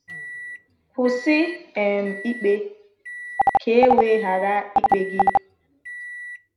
“Kwụsị um ikpe, ka e wee ghara ikpe gị.”